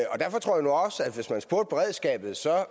hvis man spurgte beredskabet